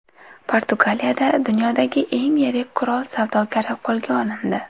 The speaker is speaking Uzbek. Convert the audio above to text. Portugaliyada dunyodagi eng yirik qurol savdogari qo‘lga olindi.